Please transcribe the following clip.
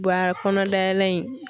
kɔnɔdayɛlɛ in.